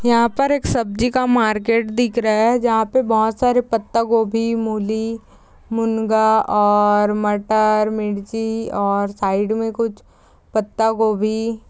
यहा पर एक सब्जी का मार्केट दिख रहा है जहा पर बहोत सारे पत्ता गोबी मुली मूंगा और मटर मिर्ची और साइड मे कुछ पत्ता गोबी--